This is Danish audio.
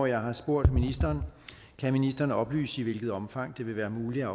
jeg spurgt ministeren kan ministeren oplyse i hvilket omfang det vil være muligt